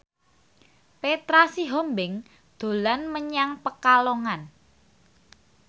Petra Sihombing dolan menyang Pekalongan